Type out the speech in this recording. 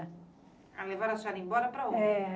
Ah, levaram a senhora embora para onde? É...